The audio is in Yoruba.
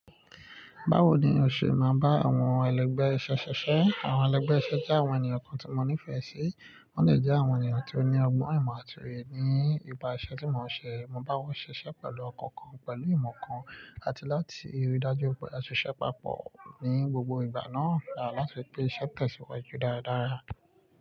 Báwo ni o ṣe máa bá àwọn ẹlẹgbẹ́ iṣẹ́ ṣiṣẹ́? Àwọn ẹlẹgbẹ́ iṣẹ́ jẹ́ àwọn ènìyàn kan tí mo nífẹ̀ẹ́ sí. Wọ́n lè jẹ́ àwọn ènìyàn tí ó ní ọgbọ́n ìmọ̀ àti èrè ní ibi iṣẹ́ tí mò ń ṣe. Mo bá wọn ṣiṣẹ́ pẹ̀lú ọkàn kan, pẹ̀lú ìmọ̀ kan, àti láti rí dájú pé a ṣe ṣẹ́ papọ̀ ní gbogbo ìgbà náà rà láti pé iṣẹ́ tẹ̀síwájú dáradára.